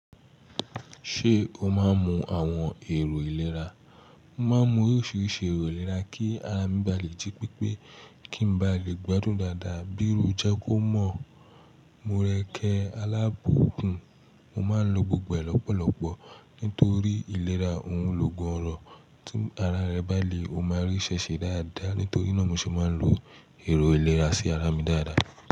Ṣé o máa ń mu àwọn èrò ìlera? Mo máa ń mu oríṣiríṣi èrò ìlera kí ara mi ba lè jí pípé, kí n ba lè gbádùn dada. Bí irú je kómọ̀, morékẹ alábùkún, mo máa ń lo gbogbo ẹ lọ́pọ̀lọpọ̀ nítorí ìlera òun ló gun ọ̀rọ̀. Tí ara rẹ bá le, o máa rí ṣẹ ṣẹ dáadáa nítorí náà mo ṣe máa ń lo èrò ìlera sí ara mi dáadáa.